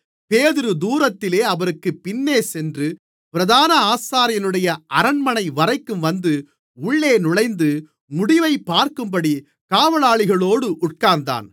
பேதுரு தூரத்திலே அவருக்குப் பின்னேசென்று பிரதான ஆசாரியனுடைய அரண்மனை வரைக்கும் வந்து உள்ளே நுழைந்து முடிவைப் பார்க்கும்படி காவலாளிகளோடு உட்கார்ந்தான்